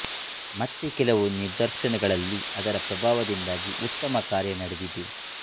ಮತ್ತೆ ಕೆಲವು ನಿದರ್ಶನಗಳಲ್ಲಿ ಅದರ ಪ್ರಭಾವದಿಂದ ಉತ್ತಮ ಕಾರ್ಯ ನಡೆದಿದೆ